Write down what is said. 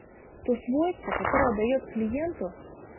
то свойство которое даёт клиенту